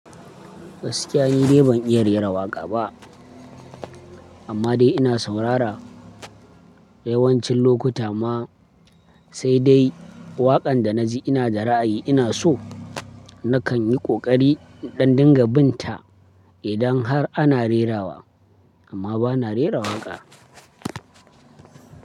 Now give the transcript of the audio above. Gaskiya ni dai ban iya rera waƙa ba, amma dai ina saurara yawancin lokuta ma sai dai waƙan da na ji ina da ra'ayi ina so nakan yi ƙoƙari in ɗan ɗinga binta idan har ana rerawa amma bana rera waƙa.